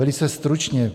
Velice stručně.